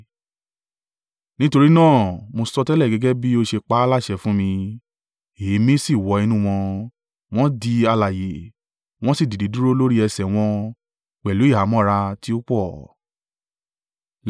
Nítorí náà, mo sọtẹ́lẹ̀ gẹ́gẹ́ bí ó ṣe pa á láṣẹ fún mi, èémí sì wọ inú wọn; wọ́n di alààyè, wọ́n sì dìde dúró lórí ẹsẹ̀ wọn—pẹ̀lú ìhámọ́ra tí ó pọ̀.